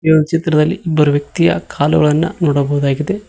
ಈ ಒಂದು ಚಿತ್ರದಲ್ಲಿ ಇಬ್ಬರು ವ್ಯಕ್ತಿಯ ಕಾಲುಗಳನ್ನ ನೋಡಬಹುದಾಗಿದೆ.